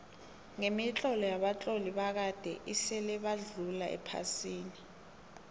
kemitlolo yabatloli bakade esile badlula ephasini